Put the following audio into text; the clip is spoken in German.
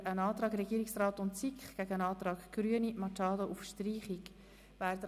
Wir stellen den Antrag Regierungsrat/SiK dem Antrag Grüne/Machado auf Streichung gegenüber.